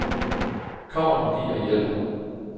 Kommer du lige og hjælper?